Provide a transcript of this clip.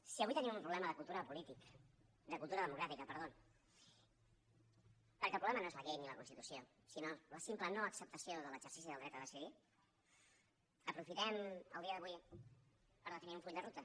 si avui tenim un problema de cultura democràtica perquè el problema no és la llei ni la constitució sinó la simple no acceptació de l’exercici del dret a decidir aprofitem el dia d’avui per definir un full de ruta